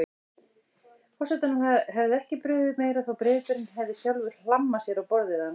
Forsetanum hefði ekki brugðið meira þótt bréfberinn hefði sjálfur hlammað sér á borðið hans.